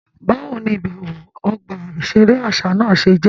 Báwo ní ibẹwo ọgba iṣere àṣà náà ṣe jẹ?